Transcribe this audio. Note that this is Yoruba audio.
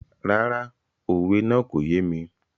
Rárá, òwe náà kò yé mi.